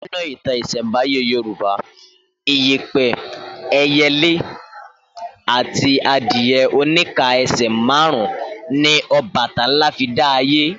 Nínú ìtàn ìsẹ̀nbáyé Yorùbá, iyẹ̀pẹ̀, ẹyẹlé àti adìyẹ oníka ẹsẹ̀ márùn-ún ni Ọbàtálá fi dá ayé